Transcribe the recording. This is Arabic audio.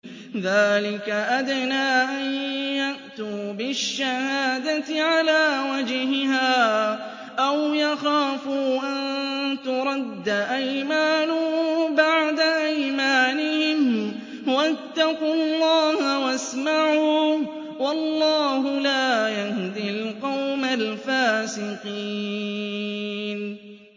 ذَٰلِكَ أَدْنَىٰ أَن يَأْتُوا بِالشَّهَادَةِ عَلَىٰ وَجْهِهَا أَوْ يَخَافُوا أَن تُرَدَّ أَيْمَانٌ بَعْدَ أَيْمَانِهِمْ ۗ وَاتَّقُوا اللَّهَ وَاسْمَعُوا ۗ وَاللَّهُ لَا يَهْدِي الْقَوْمَ الْفَاسِقِينَ